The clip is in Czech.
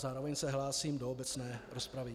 Zároveň se hlásím do obecné rozpravy.